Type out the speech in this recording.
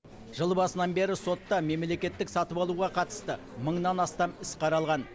жыл басынан бері сотта мемлекеттік сатып алуға қатысты мыңнан астам іс қаралған